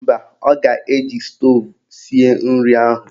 Mba, ọ ga-eji stoovu sie nri ahụ